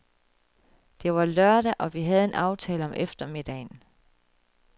Det var lørdag og vi havde en aftale om eftermiddagen.